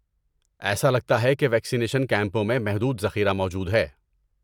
ایسا لگتا ہے کہ ویکسینیشن کیمپوں میں محدود ذخیرہ موجود ہے۔